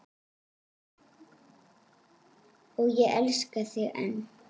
Og ég elska þig enn.